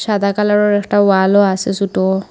সাদা কালারের একটা ওয়ালও আছে ছোট।